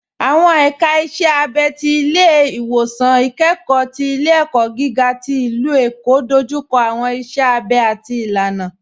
Awọn èka ìṣẹ̀ àbẹ̀ ti Ilẹ̀-iwọsan Ikẹkọ̀ ti Ilẹ̀-ẹ̀kọ́ gíga ti Ilú-Ẹ̀kọ́ dójúkọ̀ awọn ìṣẹ̀ àbẹ̀ àti ìlànà.